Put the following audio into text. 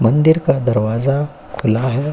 मंदिर का दरवाजा खुला है।